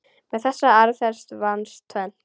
Með þessari aðferð vannst tvennt.